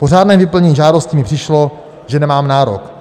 Po řádném vyplnění žádosti mi přišlo, že nemám nárok.